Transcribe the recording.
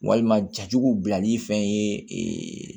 Walima jajugu bilali fɛn ye